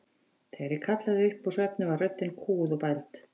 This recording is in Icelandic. Þegar ég kallaði upp úr svefni var röddin kúguð og bæld.